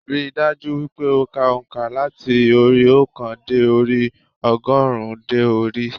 Rí i dájú wípé o ka ònkà láti orí óòkan dé orí ogórùn ún dé orí i